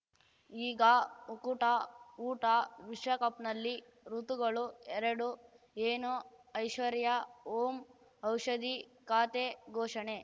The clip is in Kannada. ಈಗ ಉಕುಟ ಊಟ ವಿಶ್ವಕಪ್‌ನಲ್ಲಿ ಋತುಗಳು ಎರಡು ಏನು ಐಶ್ವರ್ಯಾ ಓಂ ಔಷಧಿ ಖಾತೆ ಘೋಷಣೆ